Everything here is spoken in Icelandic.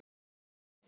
Daníel Gauti.